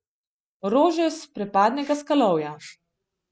Rože s prepadnega skalovja.